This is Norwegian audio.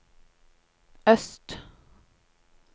øst